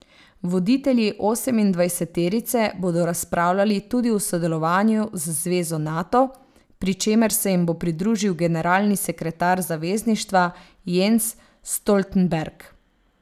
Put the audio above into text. Voditelji osemindvajseterice bodo razpravljali tudi o sodelovanju z zvezo Nato, pri čemer se jim bo pridružil generalni sekretar zavezništva Jens Stoltenberg.